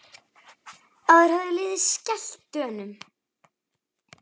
Áður hafði liðið skellt Dönum.